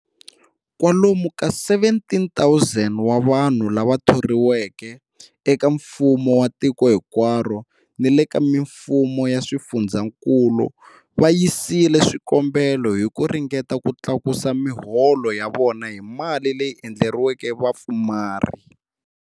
Kwalomu ka 17,000 wa vanhu lava thoriweke eka mfumo wa tiko hinkwaro ni le ka mifumo ya swifundzankulu va yisile swikombelo hi ku ringeta ku tlakusa miholo ya vona hi mali leyi endleriweke vapfumari.